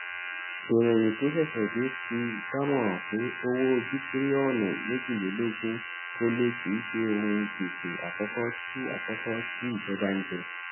ìròyìn tó ṣèṣè dé fi dámòràn pé owó bíitíríònù méjìlélógún ólé kìí ṣe òhun gbèsè àkókó tí àkókó tí ìjọba n jẹ